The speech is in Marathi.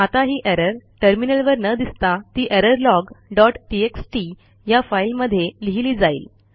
आता ही एरर टर्मिनलवर न दिसता ती एररलॉग डॉट टीएक्सटी या फाईलमध्ये लिहिली जाईल